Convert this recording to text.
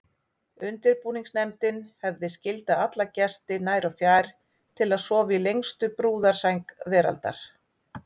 Undirbúningsnefndin hefði skyldað alla gesti nær og fjær til að sofa í lengstu brúðarsæng veraldar.